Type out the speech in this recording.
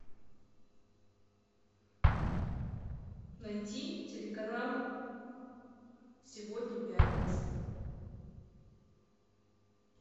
найти телеканал сегодня пятница